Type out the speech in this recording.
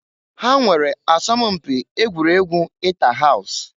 Ha nwere asọm mpi egwuregwu ita haus.